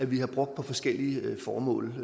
vi har brugt på forskellige formål